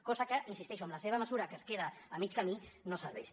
cosa que hi insisteixo amb la seva mesura que es queda a mig camí no serveix